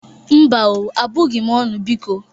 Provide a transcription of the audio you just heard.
Mba o, abụghị m ọnụ, biko.